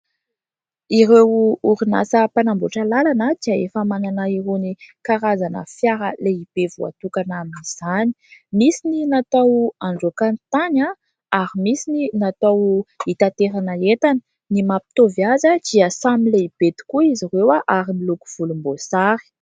Ireo orinasa mpanamboatra lalana dia efa manana irony karazana fiara lehibe voatokana amin'izany. Misy ny natao handroaka ny tany ary misy ny natao hitanterana entana. Ny mampitovy azy dia samy lehibe tokoa izy ireo ary miloko volomboasary.